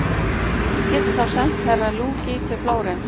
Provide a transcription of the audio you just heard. Get ég þá sent Herra Luigi til Flórens?